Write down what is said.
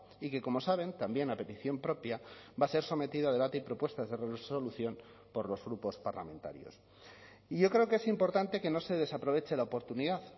y que como saben también a petición propia va a ser sometido a debate y propuestas de resolución por los grupos parlamentarios y yo creo que es importante que no se desaproveche la oportunidad